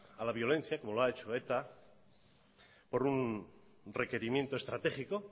a la violencia como lo ha hecho eta por un requerimiento estratégico